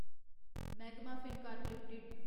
magma Fincorp limited